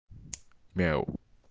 мяу